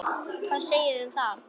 Hvað segiði um það?